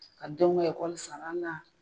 Ka denw ka sara a la.